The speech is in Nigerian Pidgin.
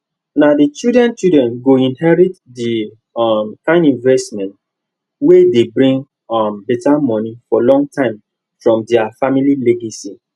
na the childrenchildren go inherit the um kind investment wey dey bring um bettermoney for long time from their family legacy